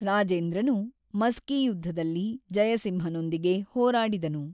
ರಾಜೇಂದ್ರನು ಮಸ್ಕಿ ಯುದ್ಧದಲ್ಲಿ ಜಯಸಿಂಹನೊಂದಿಗೆ ಹೋರಾಡಿದನು.